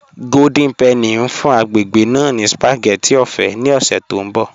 Golden Penny n fún agbègbè ná ní spagétì ọ̀fẹ̀ ni ọ̀ṣẹ̀ tó nbọ̀